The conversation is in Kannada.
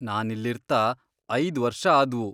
ನಾನಿಲ್ಲಿರ್ತಾ ಐದ್ ವರ್ಷ ಆದ್ವು.